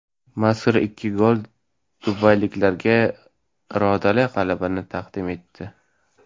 Mazkur ikki gol dubayliklarga irodali g‘alabani taqdim etdi.